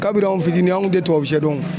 Kabiri an fitinin anw kun te tuwawusiyɛ dɔn.